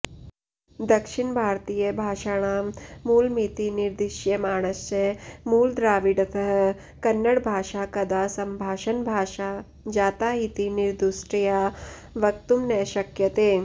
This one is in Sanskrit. दक्षिणभारतीयभाषाणां मूलमिति निर्दिश्यमाणस्य मूलद्राविडतः कन्नडभाषा कदा सम्भाषणभाषा जाता इति निर्दुष्टतया वक्तुं न शक्यते